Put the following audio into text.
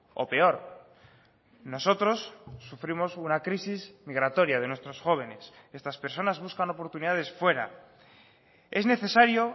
o peor nosotros sufrimos una crisis migratoria de nuestros jóvenes estas personas buscan oportunidades fuera es necesario